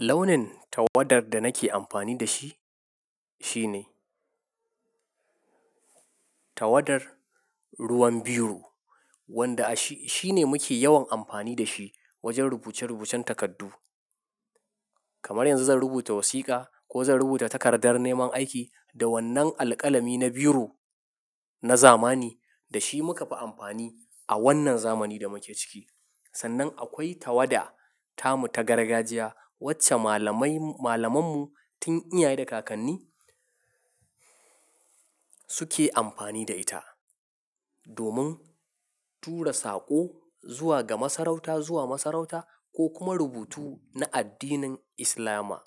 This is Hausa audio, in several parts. Launin tawadar da nake amfani da shi, shine tawadar ruwan biyu wanda a shi shine muke yawan amfani da shi wajen rubuce-rubucen takardu. Kamar yanzu zan rubuta wasiƙa ko zan rubuta takardar neman aiki da wannan alƙalami na biro na zamani da shi muka fi amfani a wannan zamani da muke ciki. Sannan akwai tawada tamu ta gargajiya wacce malamai-- malamanmu tun iyaye da kakanni suke amfani da ita. Domin tura saƙo zuwa ga masarauta, zuwa masarauta ko kuma rubutu na addinin Islama.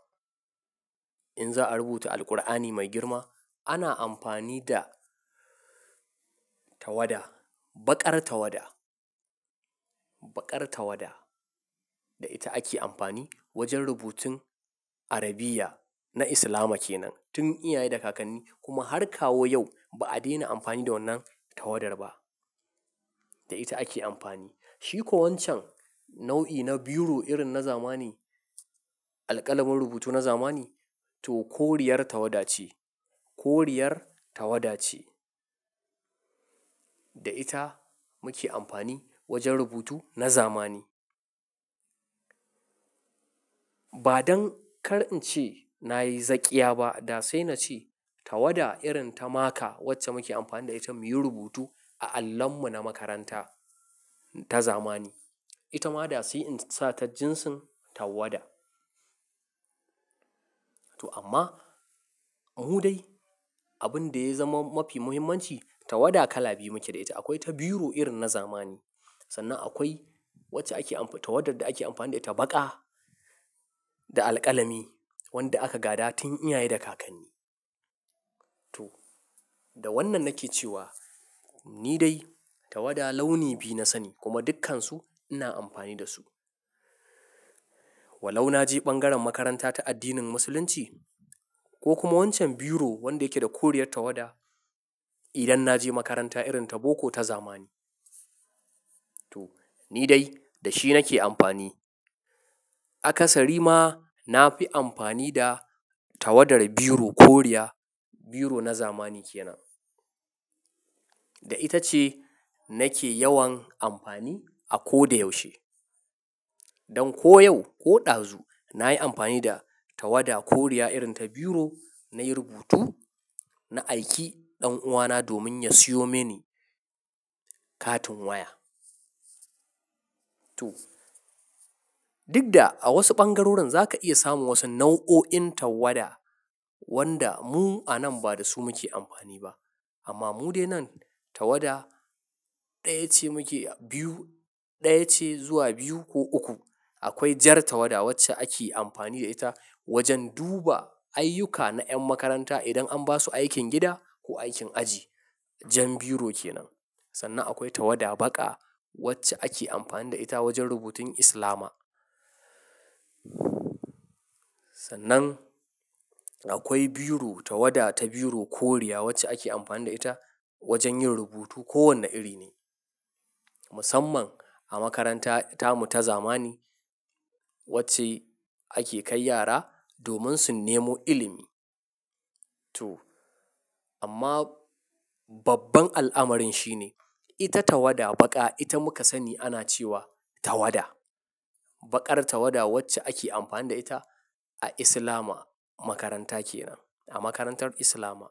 In za a rubuta Alqur'ani mai girma, ana amfani da tawada, baƙar tawada, baƙar tawada da ita ake amfani wajen rubutun Arabiya na Islama kenan. Tun iyaye da kakanni kuma har kawo yau ba a daina amfani da wannan tawadar ba. Da ita ake amfani. Shi ko wancan nau'i na biro irin na zamani, alƙalamin rubutu na zamani to koriyar tawada ce, koriyar tawada ce da ita muke amfani wajen rubutu na zamani. Ba don kar in ce na yi zakkia ba, da sai na ce tawada irin ta maka wacce muke amfani da ita muyi rubutu a allonmu na makaranta ta zamani. Ita ma da sai in sa ta jinsin tawada. To amma mu dai abin da ya zama mafi muhimmanci tawada kala biyu muke da ita. Akwai ta biro irin na zamani. Sannan akwai wacce ake amfani-- tawadar da ake amfani da ita baƙa da alƙalami wanda aka gada tun iyaye da kakanni. To da wannan nake cewa ni dai tawada launi biyu na sani kuma dukkansu ina amfani da su. Walau na je bangaren makaranta ta addinin musulunci ko kuma wancan biro wanda yake da koriyar tawada idan na je makaranta irin ta boko ta zamani. To ni dai da shi nake amfani. Akasari ma na fi amfani da tawadar biro koriya, biro na zamani kenan. Da ita ce nake yawan amfani a ko da yaushe. Don ko yau ko ɗazu na yi amfani da tawada koriya irin ta biro na yi rubutu na aike ɗan uwana domin ya siyo mini katin waya. To duk da a wasu bangaroran za ka iya samun wasu nau'o'in tawada wanda mu a nan ba da su muke amfani ba. Amma mu dai nan tawada ɗaya ce muke biyu, ɗaya ce zuwa biyu ko uku. Akwai jar tawada wacce ake amfani da ita wajen duba ayyuka na ƴan makaranta idan an ba su aikin gida ko aikin aji. Jan biro kenan. Sannan akwai tawada baƙa wacce ake amfani da ita wajen rubutun Islama. Sannan akwai biro tawada ta biro koriya wacce ake amfani da ita wajen yin rubutu ko wanne iri ne. Musamman a makaranta tamu ta zamani wacce ake kai yara domin su nemo ilimi. To amma babban al'amarin shi ne ita tawada baƙa ita muka sani ana cewa tawada. Baƙar tawada wacce ake amfani da ita a Islama makaranta kenan, a makarantar Islama.